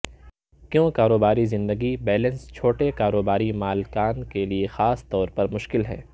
کیوں کاروباری زندگی بیلنس چھوٹے کاروباری مالکان کے لئے خاص طور پر مشکل ہے